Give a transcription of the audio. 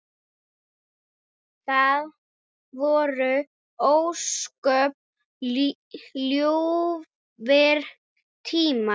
Það voru ósköp ljúfir tímar.